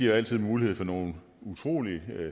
altid mulighed for nogle utrolig